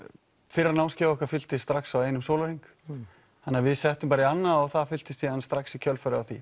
fyrra námskeiðið okkar fylltist strax á einum sólarhring þannig að við settum bara í annað og það fylltist síðan strax í kjölfarið á því